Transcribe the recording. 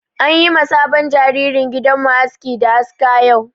An yi ma sabon jaririn gidan mu aski da aska yau.